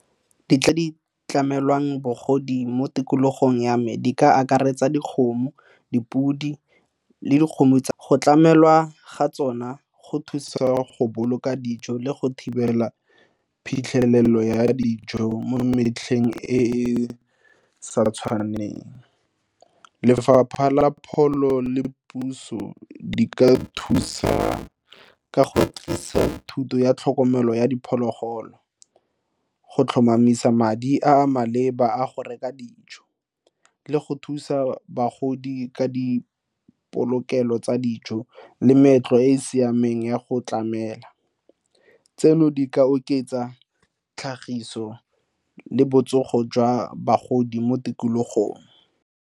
Di tla di tlamelwang bagodi mo tikologong ya me di ka akaretsa dikgomo, dipodi le dikgomo tsa go tlamelwa ga tsona go thusa go boloka dijo le go thibela phitlhelelo ya dijo mo metlheng e e sa tshwaneng. Lefapha la pholo le puso di ka thusa ka go thuto ya tlhokomelo ya diphologolo go tlhomamisa madi a maleba a go reka dijo le go thusa bagodi ka dipolokelo tsa dijo le meetlo e e siameng ya go tlamela. Tseno di ka oketsa tlhagiso le botsogo jwa bagodi mo tikologong.